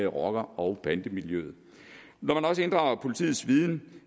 rocker og bandemiljøet når man også inddrager politiets viden